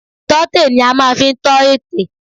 Ìtọ́tè ni a máa fi ń tọ ètè